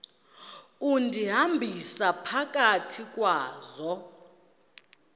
undihambisa phakathi kwazo